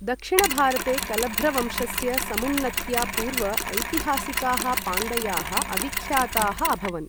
दक्षिण भारते कलभ्र वंशस्य समुन्नत्या पूर्व ऐतिहासिकाः पाण्डयाः अविख्याताः अभवन्।